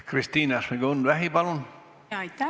Kristina Šmigun-Vähi, palun!